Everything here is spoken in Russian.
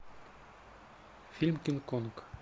фильм кинг конг